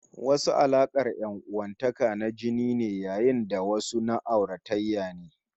Wasu alaƙar ƴan'uwantakar na jini ne, yayin da wasu na auratayya ne